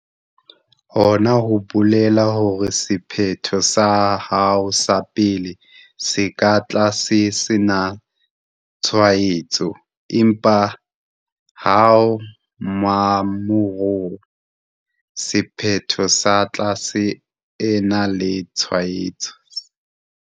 Hona ho bolela hore sephetho sa hao sa pele se ka tla se sena tshwaetso, empa ha mmamora sephetho sa tla se ena le tshwaetso.